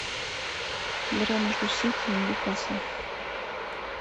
игра между сити и ньюкаслом